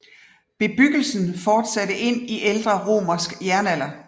Bebyggelsen fortsatte ind i ældre romersk jernalder